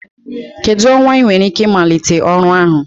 Kedu ọnwa ị nwere ike ịmalite ọrụ ahụ?